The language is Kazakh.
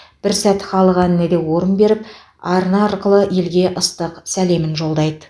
бір сәт халық әніне де орын беріп арна арқылы елге ыстық сәлемін жолдайды